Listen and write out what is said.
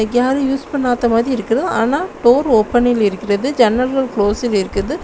யாரும் யூஸ் பண்ணாத மாதிரி இருக்கு ஆனா டோர் ஓப்பனில் இருக்கிறது ஜன்னல்கள் குளோசில் இருக்கிறது.